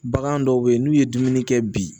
Bagan dɔw bɛ yen n'u ye dumuni kɛ bi